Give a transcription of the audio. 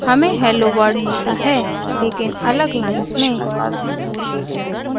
हमें hello world मिलता है लेकिन अलग लाइन्स में